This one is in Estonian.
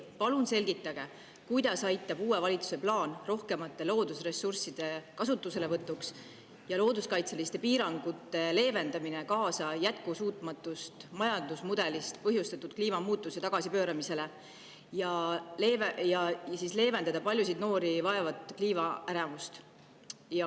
Palun selgitage, kuidas aitab uue valitsuse plaan rohkemate loodusressursside kasutuselevõtuks ja looduskaitseliste piirangute leevendamine kaasa jätkusuutmatust majandusmudelist põhjustatud kliimamuutuse tagasipööramisele ja paljusid noori vaevava kliimaärevuse leevendamisele.